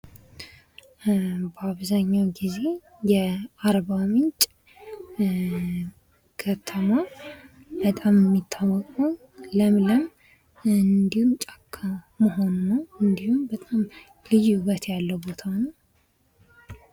በአብዛኛዉ ጊዜ የአርባ ምንጭ ከተማ በጣም የሚታወቀዉ ለምለም እንዲሁም ጫካ መሆኑ ነዉ። እንዲሁም በጣም ልዩ ዉበት ያለዉ ቦታ ነዉ።